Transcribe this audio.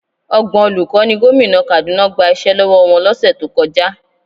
Ọgbọ̀n olùkọ́ ni gómìnà Kaduna gba iṣẹ́ lọ́wọ́ wọn lọ́sẹ̀ tó kọjá.